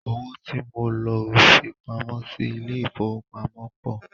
Owó tí mo lọ fipamọ́ sí ilé ìfowópamọ́ pọ̀.